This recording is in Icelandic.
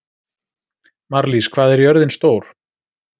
Marlís, hvað er jörðin stór?